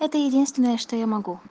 это единственное что я могу